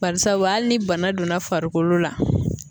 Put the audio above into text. Barisabu hali ni bana donna farikolo la.